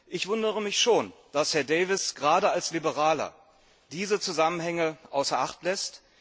Ich wundere mich schon, dass Herr Davies gerade als Liberaler diese Zusammenhänge außer Acht lässt.